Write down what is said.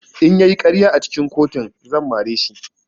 In ya yi ƙarya a cikin kotun zan mare shi.